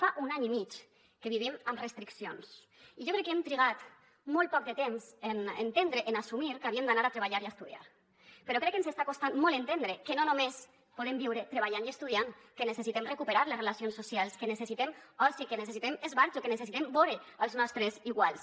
fa un any i mig que vivim amb restriccions i jo crec que hem trigat molt poc de temps en entendre en assumir que havíem d’anar a treballar i estudiar però crec que ens està costant molt entendre que no només podem viure treballant i estudiant que necessitem recuperar les relacions socials que necessitem oci que necessitem esbarjo que necessitem vore els nostres iguals